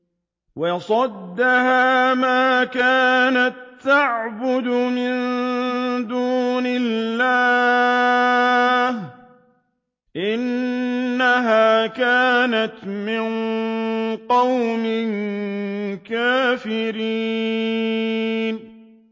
وَصَدَّهَا مَا كَانَت تَّعْبُدُ مِن دُونِ اللَّهِ ۖ إِنَّهَا كَانَتْ مِن قَوْمٍ كَافِرِينَ